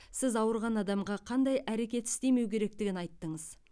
сіз ауырған адамға қандай әрекет істемеу керектігін айттыңыз